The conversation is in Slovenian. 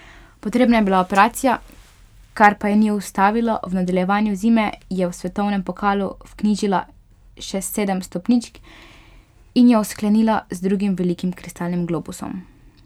Potrebna je bila operacija, kar pa je ni ustavilo, v nadaljevanju zime je v svetovnem pokalu vknjižila še sedem stopničk in jo sklenila z drugim velikim kristalnim globusom.